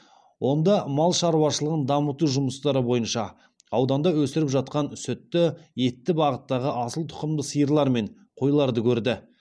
онда мал шаруашылығын дамыту жұмыстары бойынша ауданда өсіріп жатқан сүтті етті бағыттағы асыл тұқымды сиырлар мен қойларды көрді